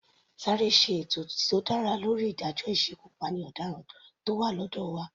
Sáré ṣe ètò tó dára lórí ìdájọ́ ìsekupáni ọ̀daràn tó wà lọ́dọ̀ wa.